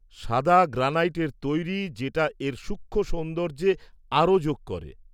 -সাদা গ্রানাইটের তৈরি, যেটা এর সূক্ষ্ম সৌন্দর্যে আরও যোগ করে।